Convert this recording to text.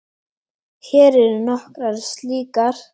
Hér eru nokkrar slíkar